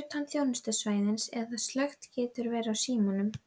utan þjónustusvæðis eða slökkt getur verið á símanum.